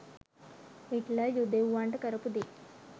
Hitler යුදෙව්වන්ට කරපු දේ